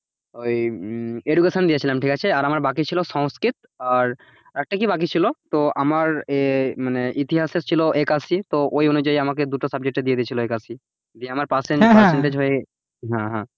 ওই education দিয়েছিলাম ঠিক আছে আর আমার বাকি ছিল সংস্কৃত আর আরেকটা কি বাকি ছিল তো আমার মানে ইতিহাসে ছিল একাশি তো ওই অনুযায়ী আমাকে দুটো subject দিয়ে দিয়েছিল একাশি দিয়ে আমার subject হয়ে,